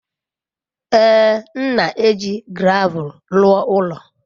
Ee, m na-eji gravel rụọ ụlọ.